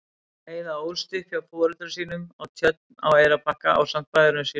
Heiða ólst upp hjá foreldrum sínum á Tjörn á Eyrarbakka ásamt bræðrum sínum.